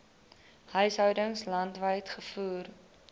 huishoudings landwyd gevoer